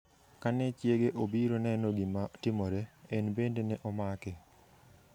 Kane chiege obiro neno gima timore, en bende ne omake.